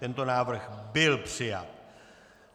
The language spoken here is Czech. Tento návrh byl přijat.